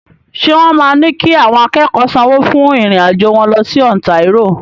Ṣé wọ́n máa ní kí àwọn akẹ́kọ̀ọ́ sanwó fún ìrìn-àjò wọn lọ sí Ontario?